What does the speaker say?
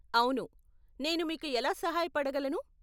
అవును, నేను మీకు ఎలా సహాయపడగలను?